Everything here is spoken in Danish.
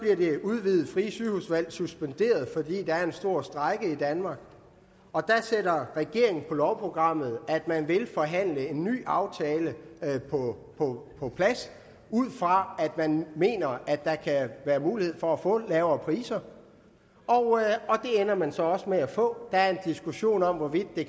det udvidede frie sygehusvalg suspenderet fordi der er en stor strejke i danmark der sætter regeringen på lovprogrammet at man vil forhandle en ny aftale på plads ud fra at man mener at der kan være mulighed for at få lavere priser det ender man så også med at få der er en diskussion om hvorvidt de